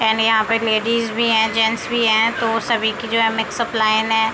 And यहाँ पे ladies भी हैं जेन्ट्स भी हैं तो सभी की जो है मिक्सअप लाइन है।